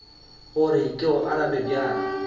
gore ke go arabe bjang